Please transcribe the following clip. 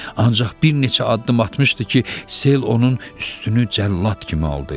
Ancaq bir neçə addım atmışdı ki, sel onun üstünü cəllad kimi aldı.